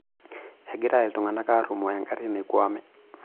Egira iltungana arrumoo engari naikwame.